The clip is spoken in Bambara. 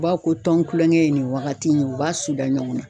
U b'a fɔ ko tɔn kulonkɛ ye nin wagati in ye, u b'a sutura ɲɔgɔn na.